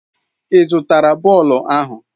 Ị zụtara bọọlụ ahụ?